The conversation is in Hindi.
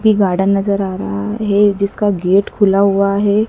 की गार्डन नजर आ रहा है जिसका गेट खुला हुआ है।